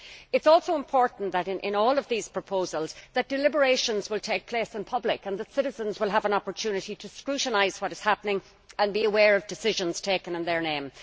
It is also important that in all of these proposals deliberations will take place in public and that citizens will have an opportunity to scrutinise what is happening and be aware of decisions taken in their name.